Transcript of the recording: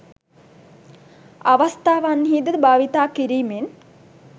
අවස්ථාවන්හි දී භාවිතා කිරීමෙන්